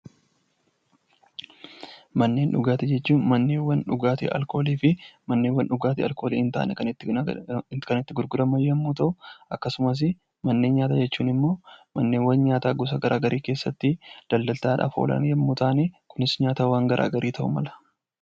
Manneen dhugaatii jechuun manneen dhugaatii alkoolii fi alkoolii hin taane kan itti gurguramu yommuu ta'u, akkasumas manneen nyaataa jechuun immoo manneen nyaataa gosa garaa garii keessatti daldaltaadhaaf oolan yommuu ta'an, kunis nyaatawwan garaa garii ta'uu mala.